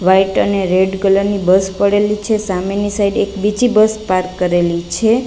White અને red colour ની bus પડેલી છે સામેની સાઇડ એક બીજી બસ પાર્ક કરેલી છે.